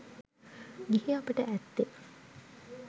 ගිහි අපට ඇත්තේ